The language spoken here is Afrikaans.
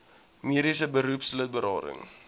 mediese beroepslid berading